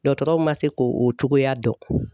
Dɔgɔtɔrɔw ma se k'o cogoya dɔn.